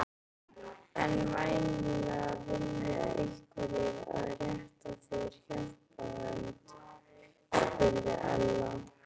En væntanlega vilja einhverjir aðrir rétta þér hjálparhönd? spurði Ella.